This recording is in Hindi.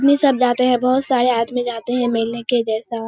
इसमें सब जाते है बहुत सारे आदमी जाते है मेले के जैसा --